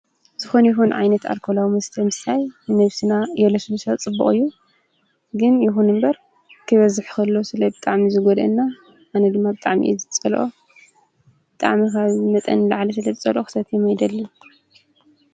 ዝኾን ይኹን ዓይነት ኣርኮላውምስ ተምሳይ ነብስና የለስምሰት ጽብቕ እዩ ግን ይኹን እምበር ክበዝሕኸሎ ስለ ብጠዕሚ ዝጐድና ኣነ ድማኣብ ጥዓሚ ዝጸልኦ ጥዕሚ ኻብ መጠን ለዓለ ሥለ ብ ጸልኦ ኽሰት የመኣይደል።